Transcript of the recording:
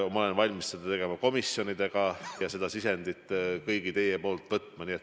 Ma olen valmis seda arutama ka komisjonidega, et teilt kõigilt sisend saada.